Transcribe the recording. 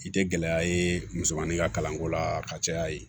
I tɛ gɛlɛya ye musomanin ka kalanko la ka caya yen